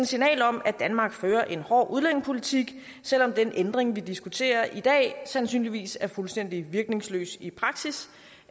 signal om at danmark fører en hård udlændingepolitik selv om den ændring vi diskuterer i dag sandsynligvis er fuldstændig virkningsløs i praksis